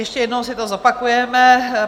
Ještě jednou si to zopakujeme.